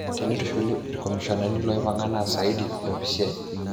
Tenintushul ikomishonani loipanga naa saidi opisiai.